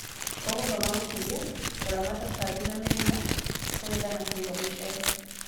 Ũgũthoma gũkũria, kũramata tũtambi na mĩrimũ, kũgetha na kũiga mũcere